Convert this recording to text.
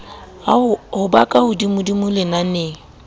ho ba ka hodimodimo lenaneng